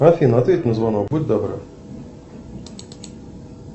афина ответь на звонок будь добра